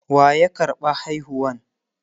waya karɓa haihuwan?